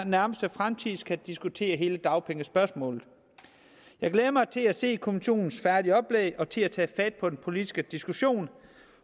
nærmeste fremtid skal diskutere hele dagpengespørgsmålet jeg glæder mig til at se kommissionens færdige oplæg og til at tage fat på den politiske diskussion